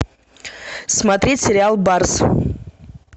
смотреть сериал барс